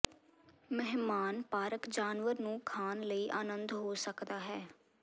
ਮਹਿਮਾਨ ਪਾਰਕ ਜਾਨਵਰ ਨੂੰ ਖਾਣ ਲਈ ਆਨੰਦ ਹੋ ਸਕਦਾ ਹੈ